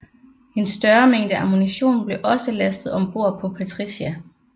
En større mængde ammunition blev også lastet om bord på Patricia